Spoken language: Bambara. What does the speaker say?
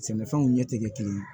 Sɛnɛfɛnw ɲɛ tɛ kɛ kelen ye